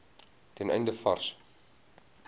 ten einde vars